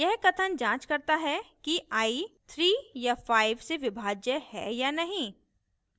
यह कथन जांच करता है कि i 3 या 5 से विभाज्य है या नहीं